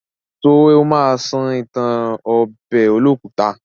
Ṣé ó ma sọ ìtàn ọbẹ̀ olókùta?